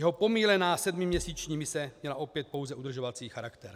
Jeho pomýlená sedmiměsíční mise měla opět pouze udržovací charakter.